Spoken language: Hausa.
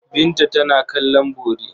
Binta tana kallon bori.